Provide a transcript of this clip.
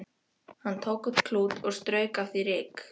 Hann tók upp klút og strauk af því ryk.